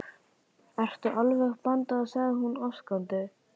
Ertu alveg band sagði hún ásakandi.